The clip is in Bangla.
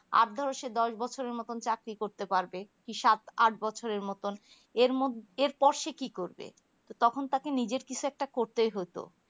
আর ধরো সে দশ বছরের মতো সে চাকরি করতে পারবে কি সাত আট বছরের মতোন এর মধ্যে এর পর সে কি করবে তো তখন তাকে নিজের কিছু একটা করতেই হতো